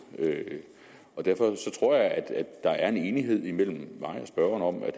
og derfor tror jeg at der er en enighed mellem mig og spørgeren om at